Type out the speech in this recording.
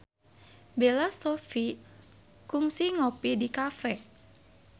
Bella Shofie kungsi ngopi di cafe